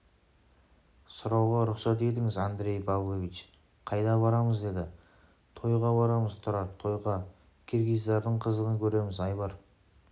сұрауға рұқсат етіңіз андрей павлович қайда барамыз деді тойға барамыз тұрар тойға киргиздардың қызығын көреміз айбар